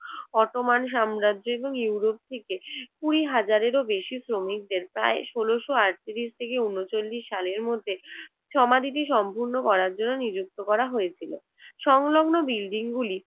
Ottoman সাম্রাজ্য এবং Europe থেকে কুড়ি হাজারেরও বেশি শ্রমিকদের প্রায় ষোলশ আট ত্রিশ থেকে ঊনচল্লিশ সালের মধ্যে সমাধিটি সম্পন্ন করার জন্য নিযুক্ত করা হয়েছিল। সংলগ্ন বিল্ডিংগুলি